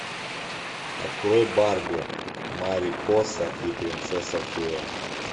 открой барби марипоса и принцесса фея